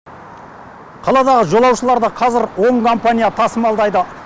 қаладағы жолаушыларды қазір он компания тасымалдайды